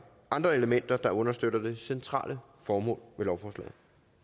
andre elementer der understøtter det centrale formål med lovforslaget